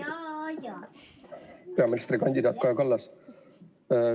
Austatud peaministrikandidaat Kaja Kallas!